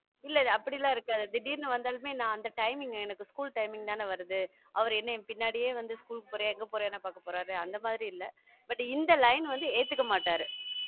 இல்ல அப்டிலாம் இருக்காது திடீர்ன்னு வந்தாலுமே நான் அந்த timing எனக்கு school timing தானே வருது அவர் என்ன என் பின்னாடியே வந்து school க்கு போறியா? எங்க போற? என்ன பார்க்கப் போறாரு? அந்த மாதிரி இல்லை but இந்த line வந்து ஏத்துக்க மாட்டாரு